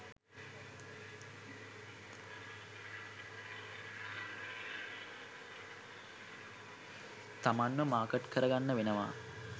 තමන්ව මාකට් කරගන්න වෙනවා.